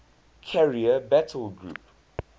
carrier battle group